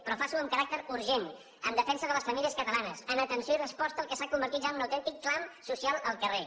però faci ho amb caràcter urgent en defensa de les famílies catalanes en atenció i resposta al que s’ha convertit ja en un autèntic clam social al carrer